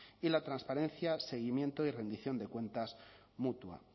y la transparencia seguimiento y rendición de cuentas mutua